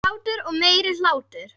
Hlátur og meiri hlátur.